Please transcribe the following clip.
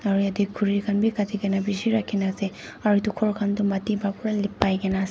aru yate khuri khan bhi katti ke na bhi bishi rakhi na ase aru etu ghor khan tu matti para pura lipkai ke na ase.